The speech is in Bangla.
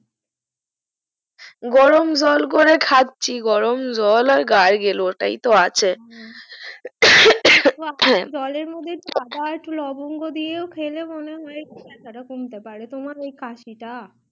গরম জল করে খাচ্ছি গরম জল আর গার্গিল ওটাই তো আছে জলে মধ্যে একটু অদা আর একটু লবঙ্গ দিয়েও খেলে মনেহয় একটু কমতে পারে তোমার ওই কাশিটা